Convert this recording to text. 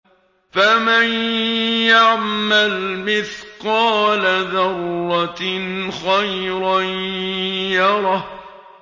فَمَن يَعْمَلْ مِثْقَالَ ذَرَّةٍ خَيْرًا يَرَهُ